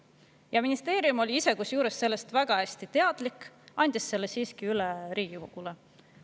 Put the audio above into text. Kusjuures ministeerium oli ise sellest väga hästi teadlik, aga andis selle siiski üle Riigikogule.